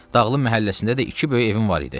Dağlı məhəlləsində də iki böyük evim var idi.